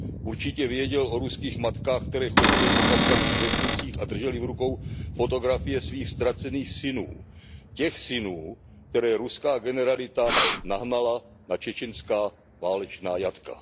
Určitě věděl o ruských matkách, které chodily po kavkazských vesnicích a držely v rukou fotografie svých ztracených synů, těch synů, které ruská generalita nahnala na čečenská válečná jatka.